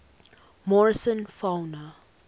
morrison fauna